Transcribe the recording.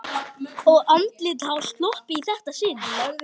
Og andlitið hafði sloppið í þetta sinn.